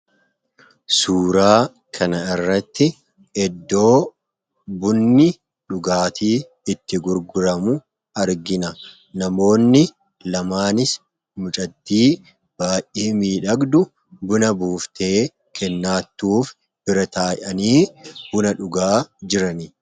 suuraa kana irratti eddoo bunni dhugaatii itti gurguramu argina namoonni lamaanis mucadii baayyee miidhagdu buna buuftee kennaattuuf bira taayanii buna dhugaa jiran